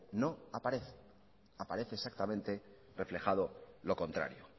no aparece aparece exactamente reflejado lo contrario